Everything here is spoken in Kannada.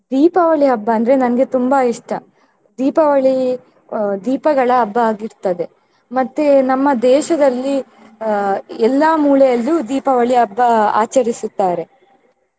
ದೀಪಾವಳಿ ಹಬ್ಬ ಅಂದ್ರೆ ನನ್ಗೆ ತುಂಬಾ ಇಷ್ಟ ದೀಪಾವಳಿ ಅಹ್ ದೀಪಗಳ ಹಬ್ಬ ಆಗಿರ್ತದೆ ಮತ್ತೆ ನಮ್ಮ ದೇಶದಲ್ಲಿ ಅಹ್ ಎಲ್ಲಾ ಮೂಲೆಯಲ್ಲೂ ದೀಪಾವಳಿ ಹಬ್ಬ ಆಚರಿಸುತ್ತಾರೆ.